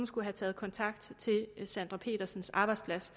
skulle have taget kontakt til sandra petersens arbejdsplads